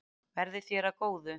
Verði þér að góðu.